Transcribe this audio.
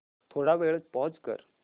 थोडा वेळ पॉझ कर